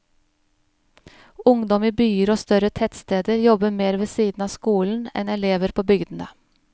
Ungdom i byer og større tettsteder jobber mer ved siden av skolen enn elever på bygdene.